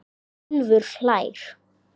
Úlfur hlær.